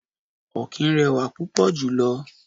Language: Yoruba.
Ọ̀kín rẹwà púpò jọ jọ.